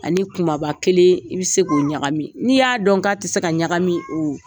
Ani kunbaba kelen i bɛ se k'u ɲagami n'i y'a dɔn k'a tɛ se ka ɲagami o